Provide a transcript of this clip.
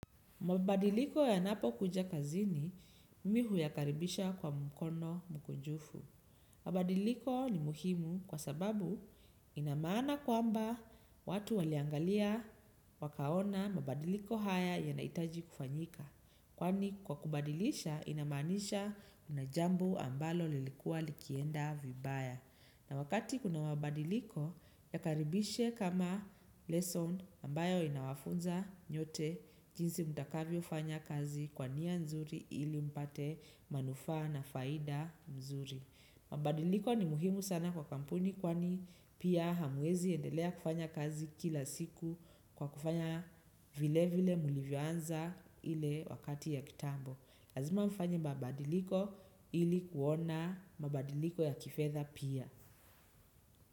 Mabadiliko yanapo kuja kazini mi huyakaribisha kwa mkono mkunjufu. Mabadiliko ni muhimu kwa sababu ina maana kwamba watu waliangalia wakaona mabadiliko haya yanahitaji kufanyika. Kwani kwa kubadilisha ina maanisha kuna jambo ambalo lilikuwa likienda vibaya. Na wakati kuna mabadiliko, yakaribishe kama lesson ambayo inawafunza nyote jinsi mtakavyo fanya kazi kwa nia nzuri ili mpate manufa na faida mzuri. Mabadiliko ni muhimu sana kwa kampuni kwani pia hamuezi endelea kufanya kazi kila siku kwa kufanya vile vile mulivyo anza ile wakati ya kitambo. Lazima mfanye mabadiliko ili kuona mabadiliko ya kifedha pia.